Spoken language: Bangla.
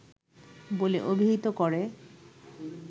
বলে অভিহিত করে